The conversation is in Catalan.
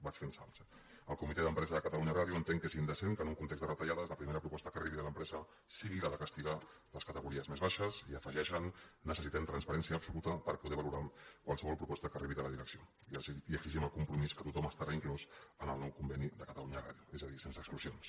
vaig fent salts eh el comitè d’empresa de catalunya ràdio entén que és indecent que en un context de retallades la primera proposta que arribi de l’empresa sigui la de castigar les categories més baixes i afegeixen necessitem transparència absoluta per poder valorar qualsevol proposta que arribi de la direcció i exigim el compromís que tothom estarà inclòs en el nou conveni de catalunya ràdio és a dir sense exclusions